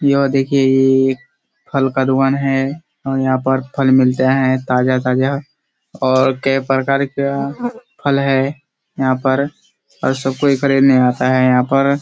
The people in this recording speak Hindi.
यह देखिये ये एक फल का दुकान है और यहाँ पर फल मिलता है ताजा-ताजा और कई प्रकार का फल है यहाँ पर और सब कोई खरीदने आता है यहाँ पर।